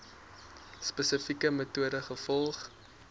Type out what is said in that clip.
spesifieke metode gevolg